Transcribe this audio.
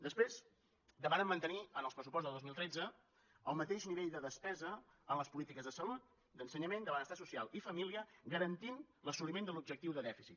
després demanen mantenir en el pressupost de dos mil tretze el mateix nivell de despesa en les polítiques de salut d’ensenyament de benestar social i família garantint l’assoliment de l’objectiu de dèficit